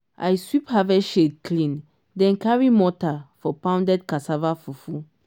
i sweep harvest shed clean then carry mortar for pounded cassava fufu.